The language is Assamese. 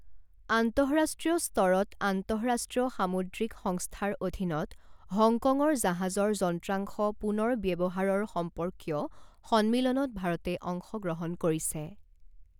আন্তঃৰাষ্ট্ৰীয় স্তৰত আন্তঃৰাষ্ট্ৰীয় সামূদ্ৰিক সংস্থাৰ অধীনত হংকঙৰ জাহাজৰ যন্ত্ৰাংশ পুনৰ্ব্যৱহাৰৰ সম্পৰ্কীয় সন্মিলনত ভাৰতে অংশগ্ৰহণ কৰিছে।